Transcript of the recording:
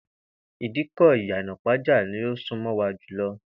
Ìdíkò̩ Ìyànà-ìpájà ni ó sún mo̩ wa jù lo̩